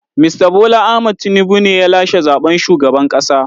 Mista Bola Ahmad Tinubu ne ya lashe zaɓen shugaban ƙasa.